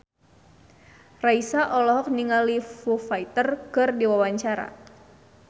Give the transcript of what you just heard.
Raisa olohok ningali Foo Fighter keur diwawancara